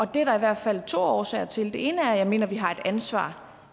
det er der i hvert fald to årsager til det ene er at jeg mener at vi har et ansvar